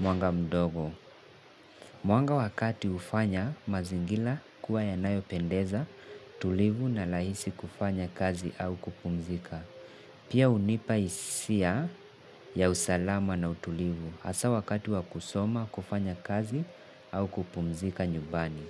mwanga mdogo. Mwanga wa kati hufanya mazingila kuwa yanayopendeza, tulivu na rahisi kufanya kazi au kupumzika. Pia hunipa hisia ya usalama na utulivu hasa wakati wa kusoma, kufanya kazi au kupumzika nyumbani.